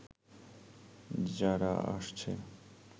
যারা আসছে